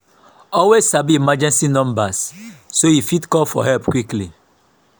always sabi emergency numbers so yu fit call for help quickly.